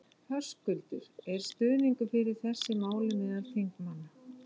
Höskuldur: Er stuðningur fyrir þessu máli meðal þingmanna?